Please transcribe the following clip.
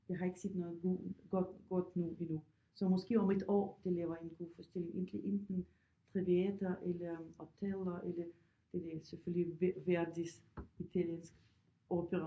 Jeg har ikke set noget god godt nu endnu så måske om et år de laver en god forestilling enten Traviata eller Othello eller det ved jeg ikke selvfølgelig Verdis italienske opera